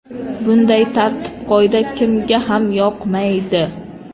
Bunday tartib-qoida kimga ham yoqmaydi!